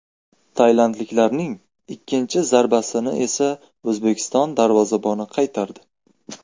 Tailandliklarning ikkinchi zarbasini esa O‘zbekiston darvozaboni qaytardi.